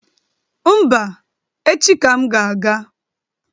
Mba, echi ka m ga-aga